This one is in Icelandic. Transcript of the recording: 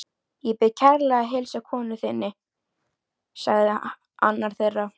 Ég bið kærlega að heilsa konu þinni sagði annar þeirra.